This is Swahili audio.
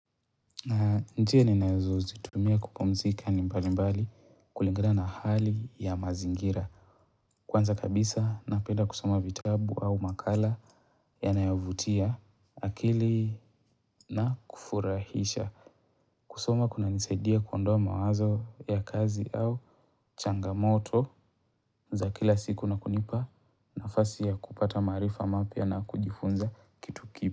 Njia ninazozitumia kupumzika ni mbalimbali kulingina na hali ya mazingira. Kwanza kabisa napenda kusoma vitabu au makala yanayovutia akili na kufurahisha. Kusoma kuna nisaidia kuondoa mawazo ya kazi au changamoto za kila siku na kunipa nafasi ya kupata maarifa mapia na kujifunza kitu kipya.